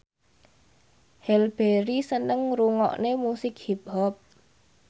Halle Berry seneng ngrungokne musik hip hop